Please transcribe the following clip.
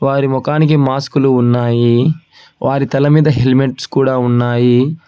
వారి మొఖానికి మాస్కులు ఉన్నాయి వారి తల మీద హెల్మెట్స్ కూడా ఉన్నాయి.